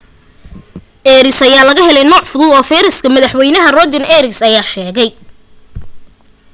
arias ayaa laga helay nooc fudud oo virus-ka madax weyne rodrigo arias ayaa sheegay